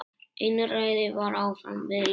Einræði var áfram við lýði.